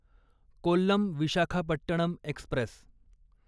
Kollam Visakhapatnam Express